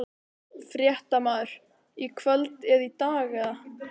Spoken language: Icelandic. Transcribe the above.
Fréttamaður: Í kvöld eða í dag eða?